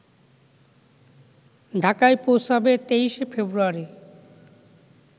ঢাকায় পৌঁছাবে ২৩ ফেব্রুয়ারি